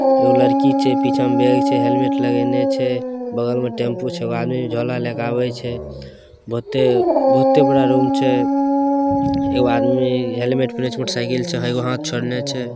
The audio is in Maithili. एगो लड़की छे पीछा में बेग छे हैलमेंट लगैले छे बगल मे टेमपु छे एगो आदमी झोला लेके आवे छ बहुते बहुते बड़ा रूम छे एक आदमी हैलमेंट मोटर साइकिल से एगो हाथ चढले छे।